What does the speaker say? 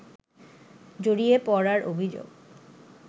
জড়িয়ে পড়ার অভিযোগ